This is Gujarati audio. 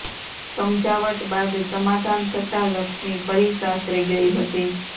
સમજાવટ બાદ સમાધાન થતાં લક્ષ્મી ફરી સાસરે ગઇ હતી